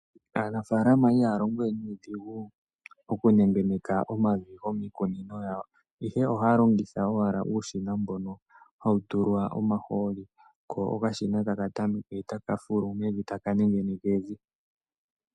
Aanafaalama ihaya longo we nuudhigu oku nengeneka omavi gomiikunino yawo, ihe ohaya longitha owala uushina mbono ha wu tulwa omahooli ko oka shina taka tameke taka fulu meni ta wu nengeneke evi.